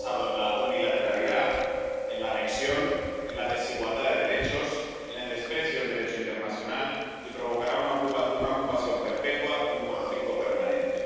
Está basado en la unilateralidad, en la anexión, en la desigualdad de derechos, en el desprecio del Derecho internacional y provocará una ocupación perpetua y un conflicto permanente.